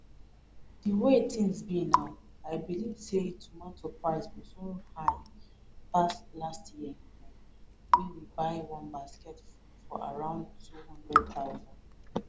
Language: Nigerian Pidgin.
di way tins be now i believe say tomato price go soon high pass last year own wey we buy one basket for around 200000